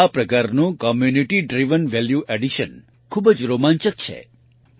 આ પ્રકારનું community driven value addition ખૂબ જ રોમાંચક છે